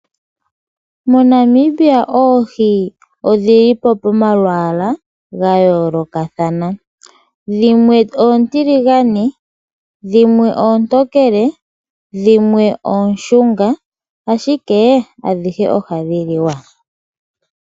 moNamibia oohi odhilipo momalwala gayoloka thana dhimwe otilingane dhimwe ontokele dhimwe oshunga ashike adhihe ohadhiliwa.